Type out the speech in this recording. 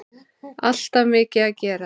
Alltaf mikið að gera.